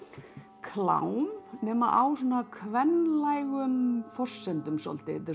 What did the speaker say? klám nema á svona kvenlægum forsendum svolítið þetta er